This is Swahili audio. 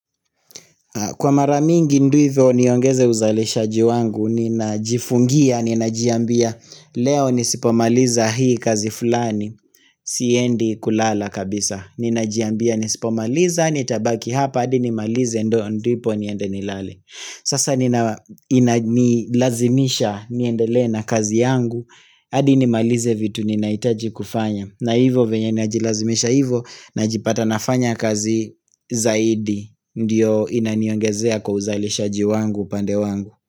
Kwa maramingi ndivyo niongeze uzalishaji wangu Nina jifungia, ninajiambia Leo nisipomaliza hii kazi fulani Siendi kulala kabisa Ninajiambia nisipomaliza, nitabaki hapa Adi nimalize ndo ndipo niende nilale Sasa nina lazimisha niendele na kazi yangu Adi nimalize vitu ninahitaji kufanya na hivo venye najilazimisha hivo Najipata nafanya kazi zaidi Ndiyo inaniongezea kwa uzali shaji wangu pande wangu.